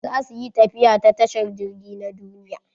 Za su yi tafiya ta tashar jirgi na duniya.